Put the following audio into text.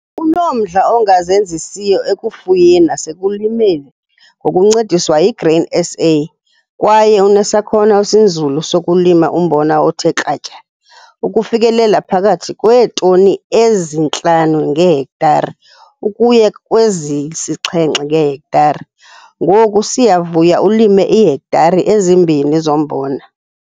Unomdla ongazenzisiyo ekufuyeni nasekulimeni ngokuncediswa yiGrain SA kwaye unesakhono esinzulu sokulima umbona othe kratya, ukufikelela phakathi kweetoni ezi-5 ngehektare ukuya kwezisi-7 ngehektare. Ngoku uSiyavuya ulime iihektare ezi-2 zombona.